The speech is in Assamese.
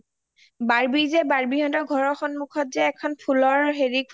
barbie যে barbie হতৰ ঘৰৰ সন্মুখত যে এখন ফুলৰ হেৰি খুলিছে দেখিছা ? ফুলৰ তাপ চাবত